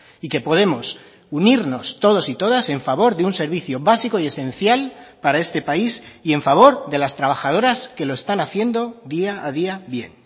y que podemos unirnos todos y todas en favor de un servicio básico y esencial para este país y en favor de las trabajadoras que lo están haciendo día a día bien